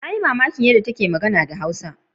Na yi mamakin yadda take magana da Hausa.